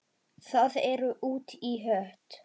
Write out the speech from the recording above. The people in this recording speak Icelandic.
Það er út í hött.